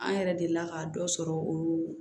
An yɛrɛ delila ka dɔ sɔrɔ o